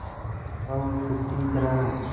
स्वशुद्धिकरण